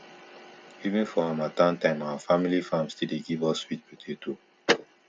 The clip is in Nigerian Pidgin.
even for harmattan time our family farm still dey give us sweet potato